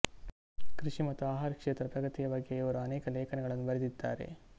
ಕೃಷಿ ಮತ್ತು ಆಹಾರ ಕ್ಷೇತ್ರದ ಪ್ರಗತಿಯ ಬಗ್ಗೆ ಇವರು ಅನೇಕ ಲೇಖನಗಳನ್ನು ಬರೆದಿದ್ದಾರೆ